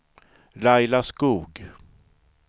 Laila Skog